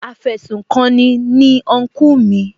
Afẹsùkanni ni Unkú mi